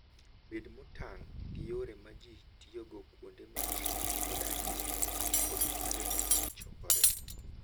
Bed motang' gi yore ma ji tiyogo kuonde ma ji odakie kod kuonde ma ji chokoree.